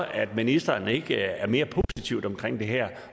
at ministeren ikke er mere positiv omkring det her